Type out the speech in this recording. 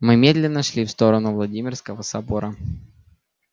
мы медленно шли в сторону владимирского собора